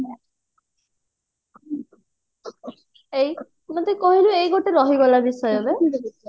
ମତେ କହିଲୁ ଏଇ ଗୋଟେ ରହିଗଲା ବିଷୟ ବେ